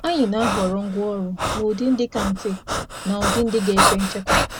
Anyị na-ahọrọ ngwa anyị dabere n’ụdị dị mfe iji sachaa ma debe.